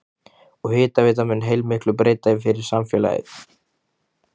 Og hitaveitan mun heilmiklu breyta fyrir samfélagið?